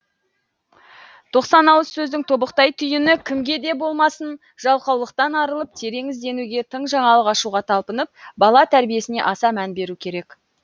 тоқсан ауыз сөздің тобықтай түйіні кімге де болмасын жалқаулықтан арылып терең ізденуге тың жаңалық ашуға талпынып бала тәрбиесіне аса мән беру керек